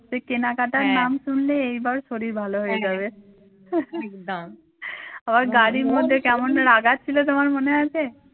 সে কেনাকাটার নাম শুনলে এইবার শরীর ভালো হয়ে যাবে আবার গাড়ির মধ্যে কেমন রাগাচ্ছিল তোমায় মনে আছে?